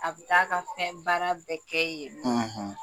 A bɛ taa ka fɛn baara bɛɛ kɛ yen nɔn;